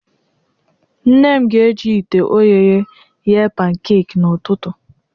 Nne m ga-eji ite ogheye ghee pankaki n'ụtụtụ.